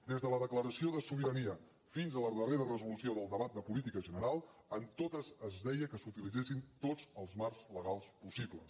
des de la declaració de sobirania fins a la darrera resolució del debat de política general en totes es deia que s’utilitzessin totsgals possibles